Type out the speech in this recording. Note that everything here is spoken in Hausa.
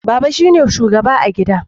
Baba shine shugaba a gida